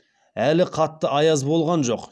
әлі қатты аяз болған жоқ